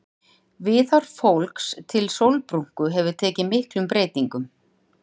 Viðhorf fólks til sólbrúnku hefur tekið miklum breytingum.